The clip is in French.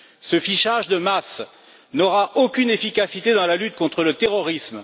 Ce fichage de masse n'aura aucune efficacité dans la lutte contre le terrorisme.